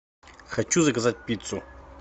хочу заказать пиццу